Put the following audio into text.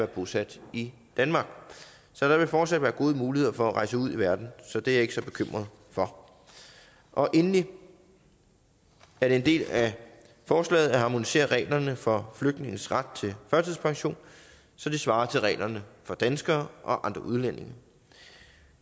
bosat i danmark så der vil fortsat være gode muligheder for at rejse ud i verden så det er jeg ikke så bekymret for endelig er det en del af forslaget at harmonisere reglerne for flygtninges ret til førtidspension så de svarer til reglerne for danskere og andre udlændinge